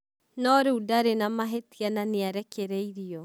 No rĩu ndarĩ na mavĩtia na nĩ arekereirio.